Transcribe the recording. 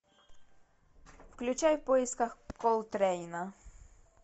включай в поисках колтрейна